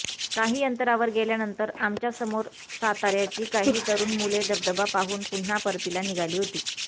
काही अंतरावर गेल्यानंतर आमच्या समोर सातार्याची काही तरुण मुले धबधबा पाहून पुन्हा परतीला निघाली होती